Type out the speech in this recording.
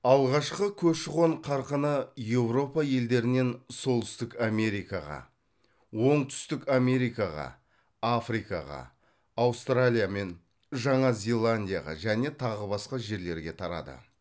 алғашқы көші қон қарқыны еуропа елдерінен солтүстік америкаға оңтүстік америкаға африкаға аустралия мен жаңа зеландияға және тағы басқа жерлерге тарады